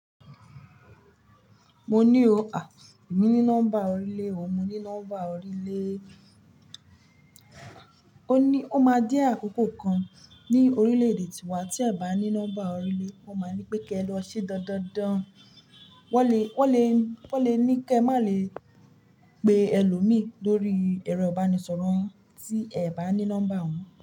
Mo ní o. À, èmi ní nọ́mbà orílè o, mo ní nọ́mbà orílè o. O ní ó máa de àkókò kan ní orílè èdè tiwa tí ẹ bá ní nọ́mbà orílè won máa ní pé kí ẹ lọ ṣe dandan dan. Wọ́n lè, wọ́n lè, wọ́n lè ní kí ẹ má lè pe ẹlòmí lórí ẹ̀rọ ìbánisọ̀rọ̀ yin tí ẹ bá ní nọ́mbà òhun.